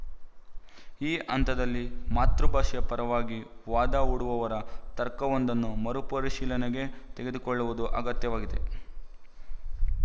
ಈ ಹಂತದಲ್ಲಿ ಮಾತೃಭಾಷೆಯ ಪರವಾಗಿ ವಾದ ಹೂಡುವವರ ತರ್ಕವೊಂದನ್ನು ಮರುಪರಿಶೀಲನೆಗೆ ತೆಗೆದುಕೊಳ್ಳುವುದು ಅಗತ್ಯವಾಗಿದೆ